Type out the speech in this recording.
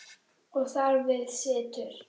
Og þar við situr.